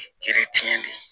tiɲɛ de